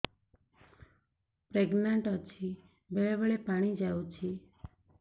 pregnant ଅଛି ବେଳେ ବେଳେ ପାଣି ଯାଉଛି